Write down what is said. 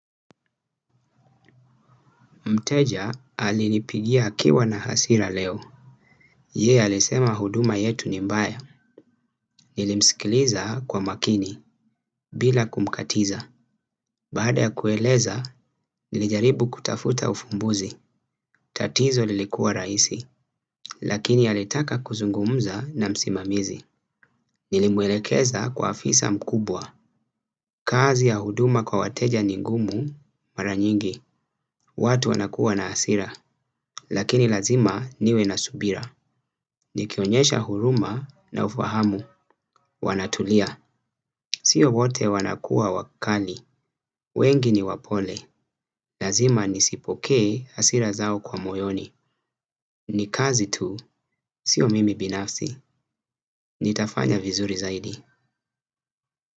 Mteja alinipigia akiwa na hasira leo. Yeye alisema huduma yetu ni mbaya. Nilimsikiliza kwa makini bila kumkatiza. Baada ya kueleza nilijaribu kutafuta ufumbuzi. Tatizo lilikuwa rahisi lakini alitaka kuzungumza na msimamizi. Nilimwelekeza kwa afisa mkubwa. Kazi ya huduma kwa wateja ni ngumu mara nyingi watu wanakuwa na hasira. Lakini lazima niwe na subira. Nikionyesha huruma na ufahamu. Wanatulia. Sio wote wanakua wakali. Wengi ni wapole. Lazima nisipokee hasira zao kwa moyoni. Ni kazi tu. Sio mimi binafsi. Nitafanya vizuri zaidi.